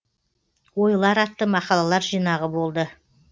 ойлар атты мақалалар жинағы болды